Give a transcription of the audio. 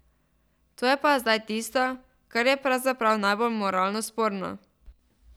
To je pa zdaj tisto, kar je pravzaprav najbolj moralno sporno.